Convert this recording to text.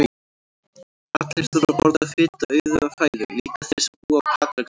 Allir þurfa að borða fituauðuga fæðu, líka þeir sem búa á Patreksfirði.